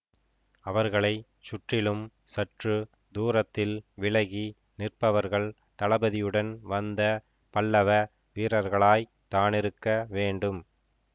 அவர்களை சுற்றிலும் சற்று தூரத்தில் விலகி நிற்பவர்கள் தளபதியுடன் வந்த பல்லவ வீரர்களாய் தானிருக்க வேண்டும்